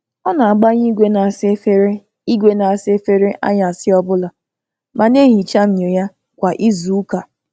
Ọ na-agbanye igwe na-asa efere igwe na-asa efere anyasị ọbụla ma na-ehicha myọ ya kwa izuụka.